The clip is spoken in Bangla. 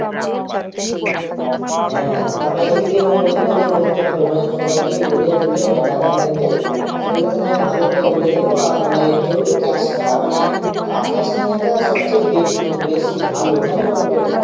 হ্যাঁ এদিকে মানে ওদিকে তো বলতে হবে মানে সবাইকেই বলে টোলে যা যা নেবে সেগুলো আমি ভালো করে বলে দেবো আর মানে যেহেতু Cash টা মানে hard cash নেওয়াটা সবচেয়ে বে বেশি ভালো কেন বলতো